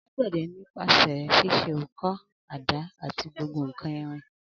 Alàgbéde ni pasé sise õkõ, àdá ati gbogbo nkan irin